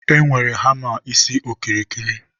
e nwere hama isi okirikiri.